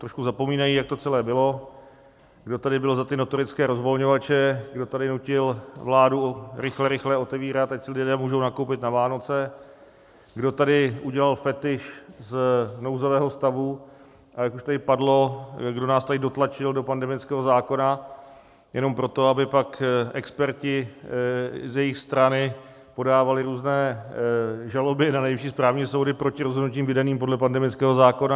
Trošku zapomínají, jak to celé bylo, kdo tady byl za ty notorické rozvolňovače, kdo tady nutil vládu rychle, rychle otevírat, ať si lidé můžou nakoupit na Vánoce, kdo tady udělal fetiš z nouzového stavu, a jak už tady padlo, kdo nás tady dotlačil do pandemického zákona jenom proto, aby pak experti z jejich strany podávali různé žaloby na nejvyšší správní soudy proti rozhodnutím vydaným podle pandemického zákona.